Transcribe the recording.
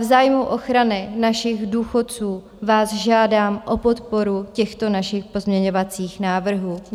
V zájmu ochrany našich důchodců vás žádám o podporu těchto našich pozměňovacích návrhů.